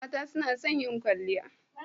Mata suna son yin kwalliya.